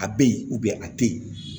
A bɛ yen a tɛ yen